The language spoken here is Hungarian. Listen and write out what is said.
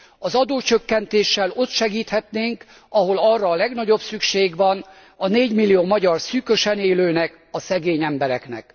Az adócsökkentéssel ott segíthetnénk, ahol arra a legnagyobb szükség van, a négymillió magyar szűkösen élőnek, a szegény embereknek.